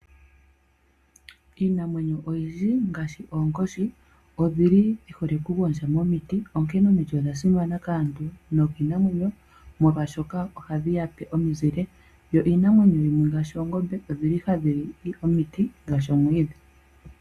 Iinamwenyo oyindji ngaashi oonkoshi odhili dhi hole oku gondja momiti. Onkene omiti odha simana kaantu no kiinamwenyo ,molwashoka ohadhi yape omizile. Yo iinamwenyo yimwe ngaashi oongombe odhili hadhi li omiti ngaashi omwiidhi.